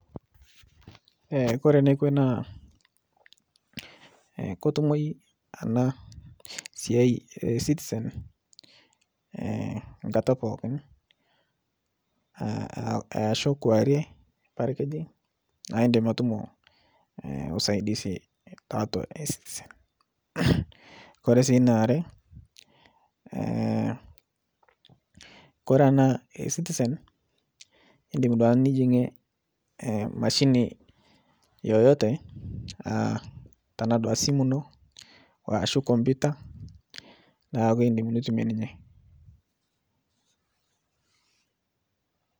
Kore nekwe naa ketumoi ena sia e Ecitizen enkata pookin. Easiho kwaarie, parkejeng aah indim atumo usaidisi tiatua Ecitizen. Mmmmm. Ore sii ine are naa ore ena Ecitizen indim naa nijigie emashini yoyote tenaa dua simu ino ashu kompita niaku indim nitumie ninye.